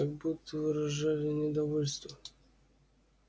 как будто выражали недовольство